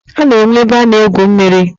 A na-enwe ebe a na-egwu mmiri.